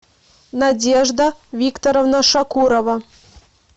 надежда викторовна шакурова